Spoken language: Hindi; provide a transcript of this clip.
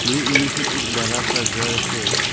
ये इमेज में एक बड़ा सा घर है।